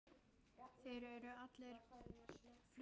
Þeir eru allir fluttir